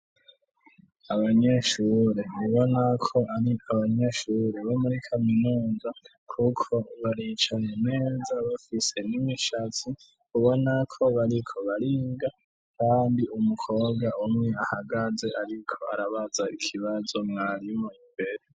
Abanyeshure ubona ko ari abanyeshure bo muri kaminuza, kuko baricaye neza bafise n'imishatsi ubona ko bariko bariga, kandi umukobwa umwe ahagaze ariko arabaza ikibazo mwarimu imbere.